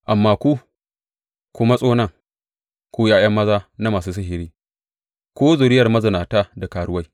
Amma ku, ku matso nan, ku ’ya’ya maza na masu sihiri, ku zuriyar mazinata da karuwai!